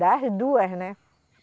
Das duas, né?